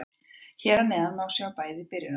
Hér að neðan má sjá bæði byrjunarlið.